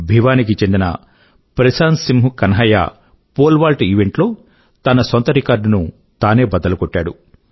భివానీ కి చెందిన Prashant Singh Kanhaiya pole vault event లో తన సొంత రికార్డ్ ను తానే బద్దలుకొట్టాడు